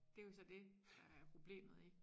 Det jo så dét der er problemet i